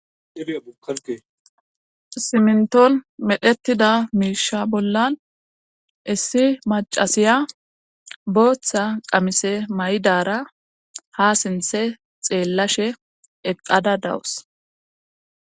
Simnton medhetida miisha bollan issi macasiya booththa qamise may7dara ha sinthe xeellashe eqqada dawus.